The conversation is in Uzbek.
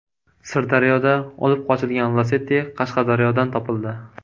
Sirdaryoda olib qochilgan Lacetti Qashqadaryodan topildi.